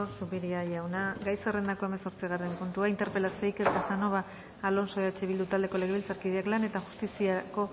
zupiria jauna gai zerrendako hamazortzigarren puntua interpelazioa iker casanova alonso eh bildu taldeko legebiltzarkidek lan eta justiziako